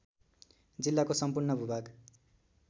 जिल्लाको सम्पूर्ण भूभाग